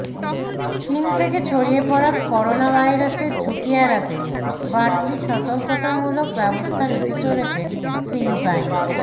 চীন থেকে ছড়িয়ে পড়া করোনাভাইরাসের ঝুঁকি এড়াতে বাড়তি সতর্কতামূলক ব্যবস্থা নিতে চলেছে ফিলিপাইন